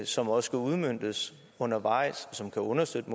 som også skal udmøntes undervejs og som kan understøtte